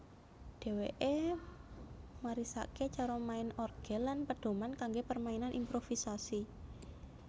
Dheweke marisake cara main orgel lan pedoman kangge permainan improvisasi